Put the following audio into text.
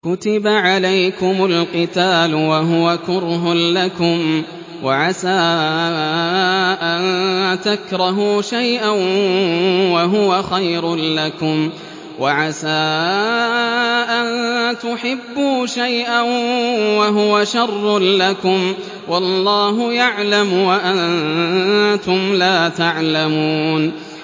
كُتِبَ عَلَيْكُمُ الْقِتَالُ وَهُوَ كُرْهٌ لَّكُمْ ۖ وَعَسَىٰ أَن تَكْرَهُوا شَيْئًا وَهُوَ خَيْرٌ لَّكُمْ ۖ وَعَسَىٰ أَن تُحِبُّوا شَيْئًا وَهُوَ شَرٌّ لَّكُمْ ۗ وَاللَّهُ يَعْلَمُ وَأَنتُمْ لَا تَعْلَمُونَ